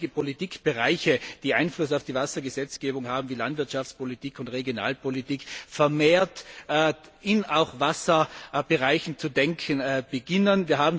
die Politikbereiche, die Einfluss auf die Wassergesetzgebung haben, wie Landwirtschaftspolitik und Regionalpolitik, vermehrt auch in Wasserbereichen zu denken beginnen.